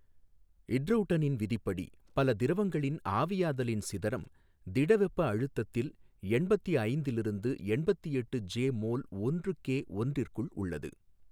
இட்றௌட்டனின் விதிப்படி பல திரவங்களின் ஆவியாதலின் சிதறம் திடவெப்ப அழுத்தத்தில் எண்பத்தி ஐந்திலிருந்து எண்பத்தி எட்டு ஜே மோல் ஒன்று கே ஒன்றிற்குள் உள்ளது.